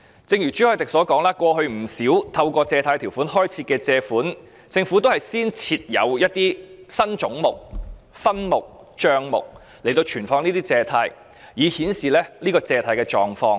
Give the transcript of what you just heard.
正如朱凱廸議員所說，過去不少透過《借款條例》開設的借款，政府均先設立新總目、分目和帳目來存放這些借款，以顯示借款的狀況。